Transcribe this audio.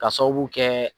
Ka sababu kɛ